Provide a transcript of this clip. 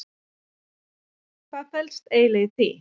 Hvað felst eiginlega í því?